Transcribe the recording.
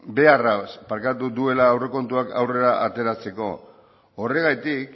beharraz duela aurrekontuak aurrera ateratzeko horregatik